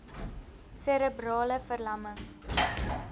serebrale ver lamming